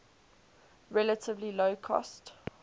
relatively low cost